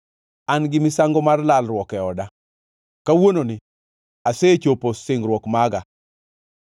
“An gi misango mar lalruok e oda, kawuononi asechopo singruok maga.